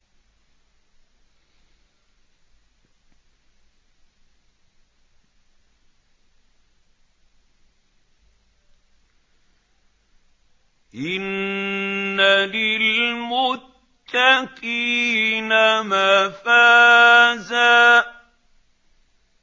إِنَّ لِلْمُتَّقِينَ مَفَازًا